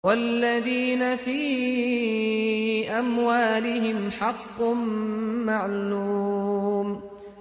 وَالَّذِينَ فِي أَمْوَالِهِمْ حَقٌّ مَّعْلُومٌ